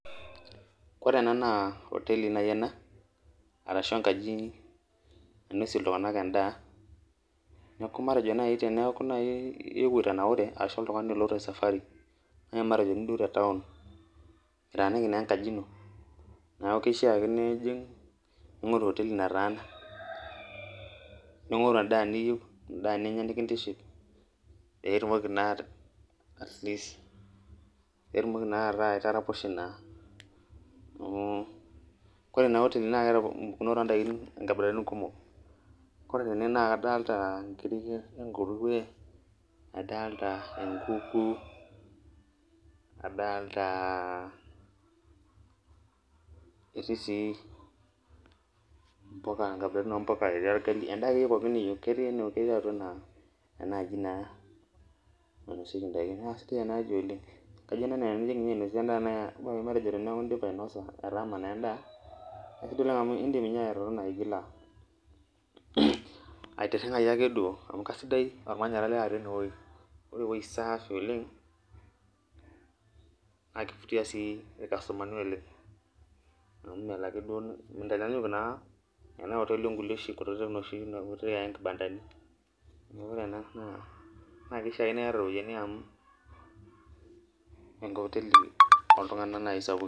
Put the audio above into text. Ore ena naa hoteli ena arashuu enkaji nainosie iltung'ana endaa, neeku matejo naaji iyewuo itanaure ashuu nkeek iloito esafari matejo naaji nidol te town mitaaniki naaji enkajino, neeku keishaa ningoru oteli nataana, ningoru endaa neiyieu endaa nikintiship piitumoki naa ataa itaraposhe naa. Ore ena oteli naa keeta nkabilaritin kumok adoolta inkiri e nkurue enkuku naadaalta etii sii mpuka netii orgali endaa akeyie niyieu. Naa enkaji ena nainosieki endaa naa sidai ena oleng email ena naa teneeku ninye indipa ainosa endaa atama endaa nindim naaji atotona bila aitirringayu ake duoo amu aisidai, ore ewueji saafi oleng naa kifutia irkastumani oleng amu melo ake mintaanyaanyuk onoshi kutiti kotelini kibandani neeku ore ena naa kishaa ake niyata iropiyiani amuu ekoteli oo iltung'ana naaji sapukin.